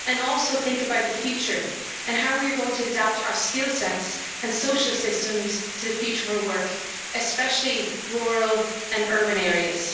and also think about the future and how we are going to adapt our skill sets and social systems to the future of our work, especially in rural and urban areas.